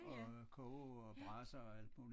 Og koge og brase og alt muligt